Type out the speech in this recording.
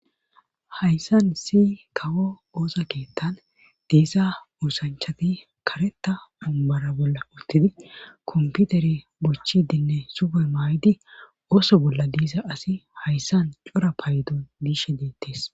hayssan issi kawo oosa keettan diisa oosanchati kareta ommara bolla uttidi komputere bochchidinne supe maay7di ooso bolla diisa asi hayssan cora paydon diishe beettees